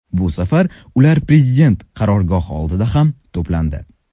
Bu safar ular prezident qarorgohi oldida ham to‘plandi.